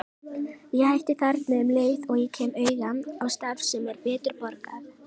Ég hætti þarna um leið og ég kem auga á starf sem er betur borgað.